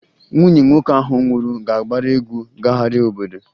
Nwunye nwoke ahụ nwụrụ ga-agbara egwu gagharịa obodo